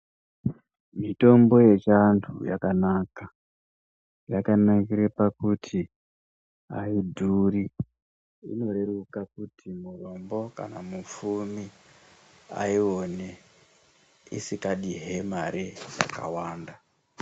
Mitombo yechiantu yakanaka yakanakire pakuti aidhuri inoreruka kuti murombo kana mupfumi aione isikadihe mari dzakawanda.